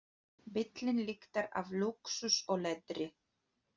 Bíllinn lyktar af lúxus og leðri.